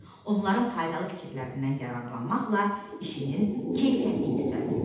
Onların faydalı fikirlərindən yararlanmaqla işinin keyfiyyətini yüksəlt.